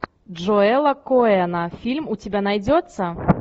джоэла коэна фильм у тебя найдется